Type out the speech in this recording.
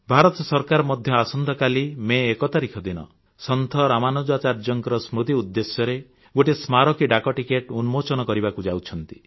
ଭାରତ ସରକାର ମଧ୍ୟ ଆସନ୍ତାକାଲି ମେ ୧ ତାରିଖ ଦିନ ସନ୍ଥ ରାମାନୁଜାଚାର୍ଯ୍ୟଙ୍କ ସ୍ମୃତି ଉଦ୍ଦେଶ୍ୟରେ ଗୋଟିଏ ସ୍ମାରକୀ ଡାକ ଟିକେଟ ଉନ୍ମୋଚନ କରିବାକୁ ଯାଉଛନ୍ତି